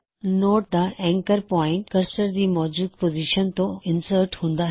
note ਦਾ anchor point cursor ਦੀ ਮੌਜੂਦ ਪੋਜੀਸ਼ਨ ਤੋਂ ਇਨਸਰਟ ਹੁੰਦਾ ਹੈ